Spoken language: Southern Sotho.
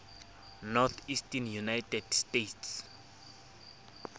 northeastern united states